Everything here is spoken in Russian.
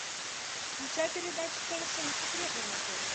включай передачу совершенно секретно на тв